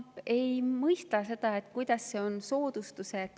Ma ei mõista seda, kuidas see on soodustus.